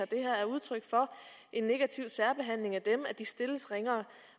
det her er udtryk for en negativ særbehandling af dem altså at de stilles ringere